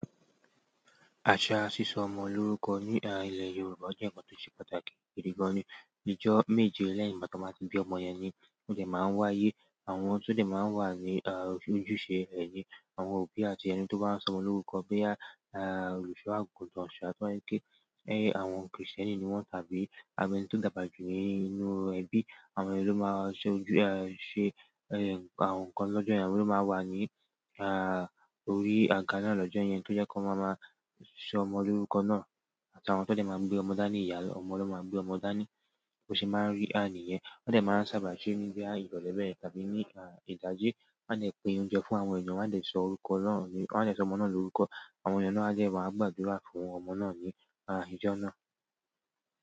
Àṣà sísọ ọmọ lórúkọ ní à ilẹ̀ Yorùbá ó jẹ́ ǹkan tó ṣe pàtàkì gidi gan. Ní ọjọ́ méje lẹ́yìn ìgbà tí wọ́n bá ti bí ọmọ yẹn ni ó dẹ̀ máa ń wáyé. Àwọn tó dẹ̀ máa ń wà ní à ojúṣe rẹ̀ ni àwọn òbí àti ẹni tó bá n sọmọ lórúkọ bóyá à òlùṣọ àgùntàn, ṣọ̀ àtúnwáiké, ẹyí àwọn krìsìtẹ́nì ni wọ́n tàbí àbí ẹni tó dàbà jù ní inú ẹbí. Àwọn yẹn ló máa ṣe ojú ẹ ṣe ẹ àwọn ǹkan lọ́jọ́ yẹn, àwọn ló máa wà ní orí àga náà lọ́jọ́ yẹn tó jẹ́ kọ́n máa máa sọmọ lórúkọ náà. Àti àwọn tó dẹ̀ máa ń gbé ọmọ dání, ìyá ọmọ ló máa ń gbé ọmọ dání bó ṣe máa ń rí níyẹn. Wọ́n dẹ̀ máa ń sábà ṣe ní bóyá ìrọ̀lẹ́ bẹ́yẹn tàbí ní ìdájí. Wọ́n á dẹ̀ pín oúnjẹ fún àwọn ènìyàn, wọ́n á dẹ̀ sọ orúkọ náà ni wọ́n á dẹ̀ sọmọ náà lórúkọ. Àwọn ènìyàn náà dẹ̀ wá gbàdúrà fún ọmọ náà ni ijọ́ náà.